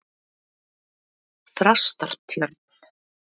Þrastartjörn